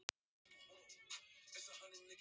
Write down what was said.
Það stóð, að þið hygðust þvinga þá til að selja